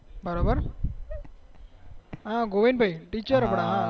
બરોબર ગોવિંદભાઈ ટીચેર આપડા